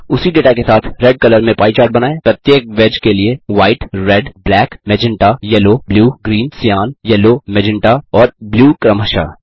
उसी डेटा के साथ रेड कलर में पाई चार्ट बनाएँ प्रत्येक वेज के लिए व्हाइट रेड ब्लैक magentaयेलो blue green cyan yellow magenta और ब्लू क्रमशः